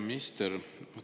Hea minister!